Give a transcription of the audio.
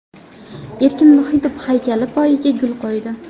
Erkin Vohidov haykali poyiga gul qo‘ydi.